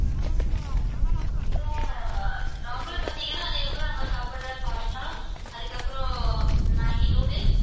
அப்பறம் normal பாத்தீங்கன்னா அதுக்கப்புறம் நம்ம சாப்புடுற pasta அதுக்கப்புறம் மேகி noodles